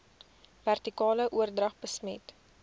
vertikale oordrag besmet